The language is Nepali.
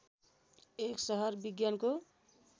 एक सहर विज्ञानको